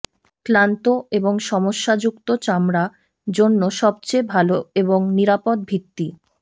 ক্লান্ত এবং সমস্যাযুক্ত চামড়া জন্য সবচেয়ে ভাল এবং নিরাপদ ভিত্তি